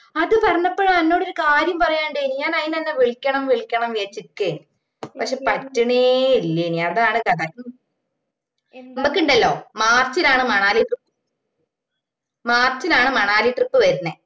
അത് പറഞ്ഞപ്പോഴാ അന്നോടൊരി കാര്യം പറയാനുണ്ടെനും ഞാൻ അയിനാ ഇഞ വിളിക്കണം വിളിക്കണം ന്ന് വിചാരിച് നിക്കുവേനും പക്ഷെ പറ്റുന്നെ ഇല്ലെനും അതാണ് കഥ ഞമ്മക്കിണ്ടല്ലോ മാർച്ചിലാണ് മണാലി trip മാർച്ചിലാണ് മണാലി trip വരുന്നേ